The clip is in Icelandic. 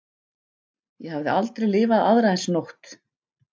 Ég hafði aldrei lifað aðra eins nótt.